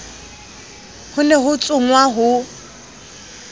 ho ne ho tsongwa ho